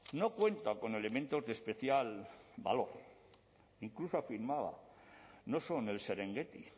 no cuenta con elementos de especial valor incluso afirmaba no son el serengueti